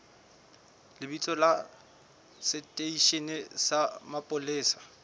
lebitso la seteishene sa mapolesa